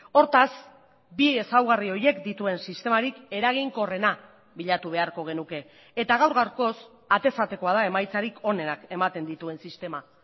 hortaz bi ezaugarri horiek dituen sistemarik eraginkorrena bilatu beharko genuke eta gaur gaurkoz atez atekoa da emaitzarik onenak ematen dituen sistema